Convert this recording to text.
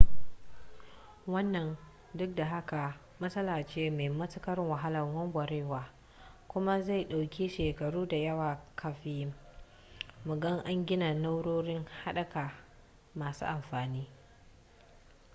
wannan duk da haka matsala ce mai matuƙar wahalar warwarewa kuma zai ɗauki shekaru da yawa kafin mu ga an gina na'urori haɗaka masu amfani